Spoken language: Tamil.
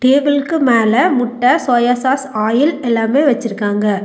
டேபிள்க்கு மேல முட்ட சோயா சாஸ் ஆயில் எல்லாமே வெச்சிருக்காங்க.